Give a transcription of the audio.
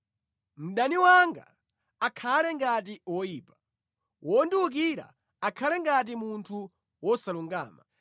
“Mdani wanga akhale ngati woyipa, wondiwukira akhale ngati munthu wosalungama!